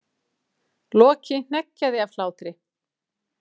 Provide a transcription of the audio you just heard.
Loki hneggjaði af hlátri.